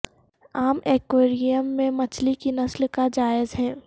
عام ایکویریم میں مچھلی کی نسل کا جائز ہے